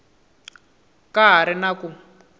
ka ha ri na ku